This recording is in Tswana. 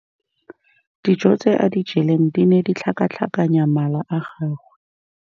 Dijô tse a di jeleng di ne di tlhakatlhakanya mala a gagwe.